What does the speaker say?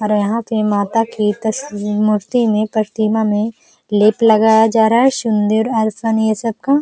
और यहाँ पे माता की तस मूर्ति में प्रतिमा में लेप लगाया जा रहा है। सिंदूर ये सब का।